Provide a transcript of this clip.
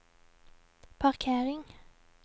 parkering